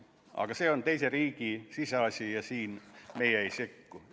Aga see on teise riigi siseasi ja siin meie ei sekku.